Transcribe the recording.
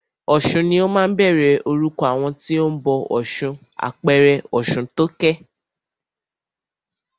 Ọ̀sun ni ó máa ń bẹ̀rẹ̀ orúkọ àwọn tí o ń bọ ọ̀ṣun, àpẹẹrẹ Ọ̀ṣuntókẹ́.